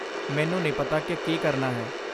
ਮੈਨੂੰ ਨਹੀਂ ਪਤਾ ਕਿ ਕੀ ਕਰਨਾ ਹੈ।